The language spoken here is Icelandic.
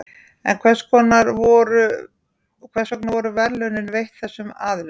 en hvers vegna voru verðlaunin veitt þessum aðilum